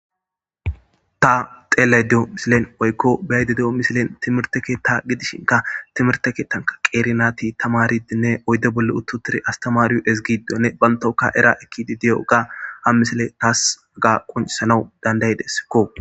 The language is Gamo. ta xeelaydeyo misilen oykko baaydi de7o misilen timirte keetta gidishinka timirte keettanka qeeri naati tamaridinne oydde bolle uttutiri astamariyo ezgido ne bantoka era ekki di de7o ga ha misile taas ga quncisanawu dandaydeskko